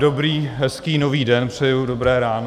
Dobrý hezký nový den přeju, dobré ráno.